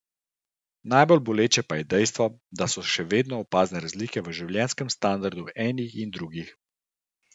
Najbolj boleče pa je dejstvo, da so še vedno opazne razlike v življenjskem standardu enih in drugih.